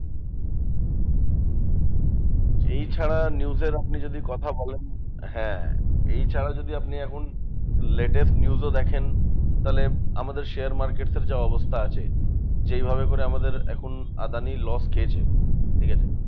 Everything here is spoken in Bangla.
এই ছাড়া news এর আপনি যদি কথা বলেন হ্যাঁ, এই ছাড়াও যদি আপনি এখন latest news ও দেখেন, তাহলে আমাদের share market এর যা অবস্থা আছে, যেইভাবে করে আমাদের এখন আদানি loss খেয়েছে, ঠিকাছে?